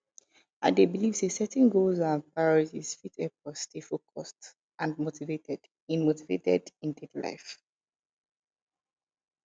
i dey believe say setting goals and priorities fit help us stay focused and motivated in motivated in daily life